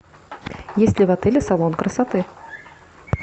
есть ли в отеле салон красоты